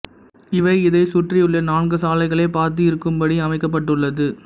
இவை இதைச் சுற்றியுள்ள நான்கு சாலைகளைப் பார்த்து இருக்கும்படி அமைக்கப்பட்டுள்ளது